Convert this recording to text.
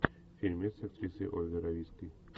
фильмец с актрисой ольгой равицкой